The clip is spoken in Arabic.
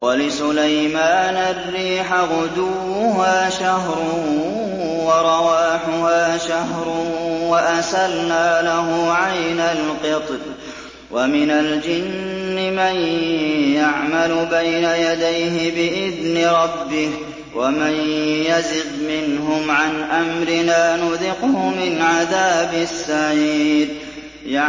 وَلِسُلَيْمَانَ الرِّيحَ غُدُوُّهَا شَهْرٌ وَرَوَاحُهَا شَهْرٌ ۖ وَأَسَلْنَا لَهُ عَيْنَ الْقِطْرِ ۖ وَمِنَ الْجِنِّ مَن يَعْمَلُ بَيْنَ يَدَيْهِ بِإِذْنِ رَبِّهِ ۖ وَمَن يَزِغْ مِنْهُمْ عَنْ أَمْرِنَا نُذِقْهُ مِنْ عَذَابِ السَّعِيرِ